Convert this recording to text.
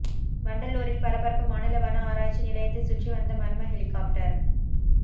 வண்டலூரில் பரபரப்பு மாநில வன ஆராய்ச்சி நிலையத்தை சுற்றி வந்த மர்ம ஹெலிகாப்டர்